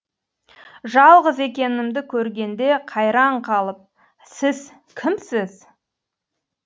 жалғыз екенімді көргенде қайран қалып сіз кімсіз